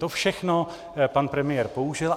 To všechno pan premiér použil.